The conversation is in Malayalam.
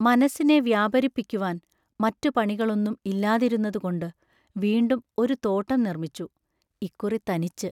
മനസ്സിനെ വ്യാപരിപ്പിക്കുവാൻ മറ്റു പണികളൊന്നും ഇല്ലാതിരുന്നതുകൊണ്ട് വീണ്ടും ഒരു തോട്ടം നിർമിച്ചു; ഇക്കുറി തനിച്ച്.